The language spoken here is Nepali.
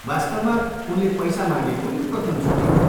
वास्तवमा, उनले पैसा मागेको यो प्रथमचोटि हो।